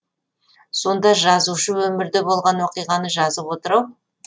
сонда жазушы өмірде болған оқиғаны жазып отыр ау